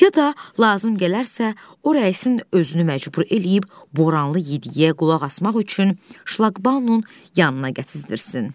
Ya da lazım gələrsə, o rəisin özünü məcbur eləyib Boranlı Yedi-geyə qulaq asmaq üçün şlaqbaumun yanına gətizdirsin.